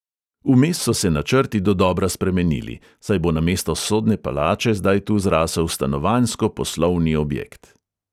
Vmes so se načrti dodobra spremenili, saj bo namesto sodne palače zdaj tu zrasel stanovanjsko-poslovni objekt.